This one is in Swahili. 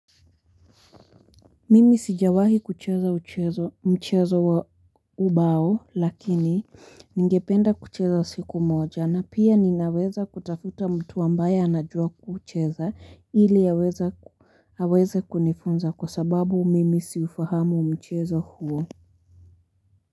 Mimi sijawahi kucheza mchezo wa ubao lakini ningependa kucheza wa siku moja na pia ninaweza kutafuta mtu ambaye anajua kucheza ili haweza kunifunza kwa sababu mimi siufahamu mchezo huo.